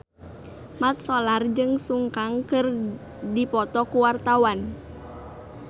Mat Solar jeung Sun Kang keur dipoto ku wartawan